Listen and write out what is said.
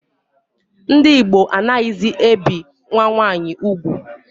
Ndị Igbo anaghịzi ebi nwa nwaanyi ugwu